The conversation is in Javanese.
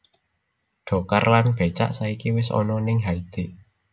Dokar lan becak saiki wes ono ning Haiti